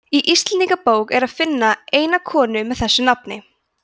í íslendingabók er að finna eina konu með þessu nafni